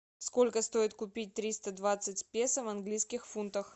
сколько стоит купить триста двадцать песо в английских фунтах